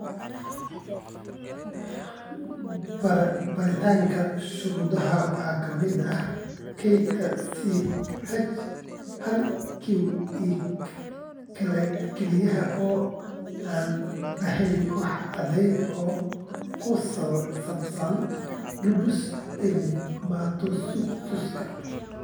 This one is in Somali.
Baaritaanka shuruudaha waxaa ka mid ah kaydka C hal q ee kelyaha oo aan lahayn wax caddayn ah oo ku saabsan lupus erythematosuska.